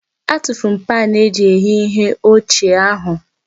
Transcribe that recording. Atufuru m paanụ eji eghe ihe ochie ahụ.